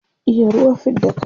iya ruwa fidda kai